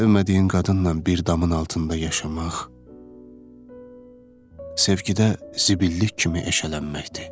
Sevmədiyin qadınnan bir damın altında yaşamaq sevgidə zibillik kimi eşələnməkdir.